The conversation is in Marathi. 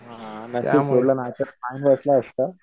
हा नाहीतर फाईन असत.